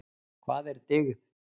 Hvað er dygð?